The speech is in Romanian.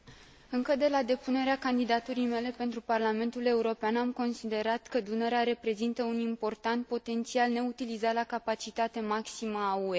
Încă de la depunerea candidaturii mele pentru Parlamentul European, am considerat că Dunărea reprezintă un important potențial, neutilizat la capacitate maximă, al UE.